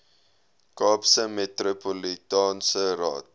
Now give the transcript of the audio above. kaapse metropolitaanse raad